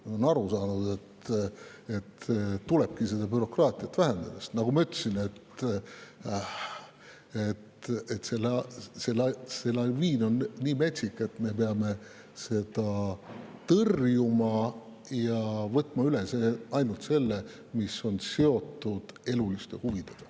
Nad on aru saanud, et tulebki bürokraatiat vähendada, sest, nagu ma ütlesin, see laviin on nii metsik, et me peame seda tõrjuma ja võtma üle ainult selle, mis on seotud eluliste huvidega.